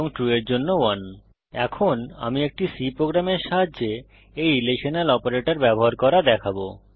return values 0 যখন false হয় 1 যখন ট্রু হয় এখন আমি একটি C প্রোগ্রামের সাহায্যে এই রিলেশনাল অপারেটর ব্যবহার করা দেখাবো